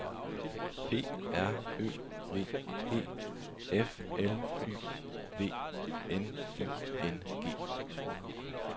P R Ø V E F L Y V N I N G